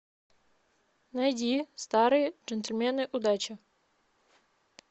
найди старые джентльмены удачи